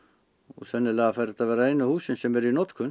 sennilega fara þetta að vera einu húsin sem eru í notkun